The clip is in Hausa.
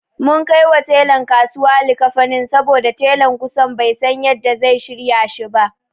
Mun kaiwa telan kasuwa likkafanin saboda telan kusan bai san yanda zai shirya shi ba.